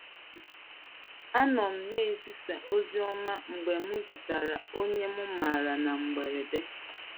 “ Anọ m na - ezisa ozi ọma mgbe m zutere onye m maara na mberede.